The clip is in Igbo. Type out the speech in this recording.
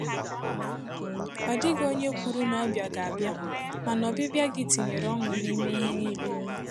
Ọ dịghị onye kwuru na ọbịa ga-abịa, mana ọbịbịa gị tinyere ọṅụ n’ime ihe niile.